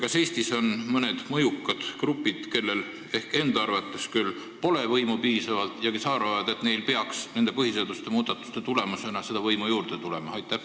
Kas Eestis on mõned mõjukad grupid, kellel enda arvates pole võimu piisavalt ja kes arvavad, et neile peaks nende põhiseaduse muudatuste tulemusena võimu juurde tulema?